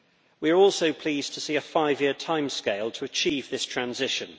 We are also pleased to see a five year timescale to achieve this transition.